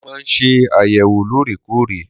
Mo máa ń ṣe àyẹ̀wò lóòrèkóòrè.